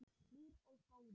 Hlýr og góður.